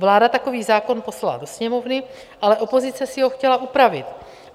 Vláda takový zákon poslala do Sněmovny, ale opozice si ho chtěla upravit.